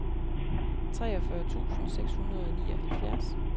treogfyrre tusind seks hundrede og nioghalvfjerds